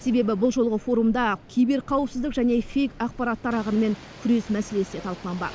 себебі бұл жолғы форумда киберқауіпсіздік және фейк ақпарттар ағынымен күрес мәселесі де талқыланбақ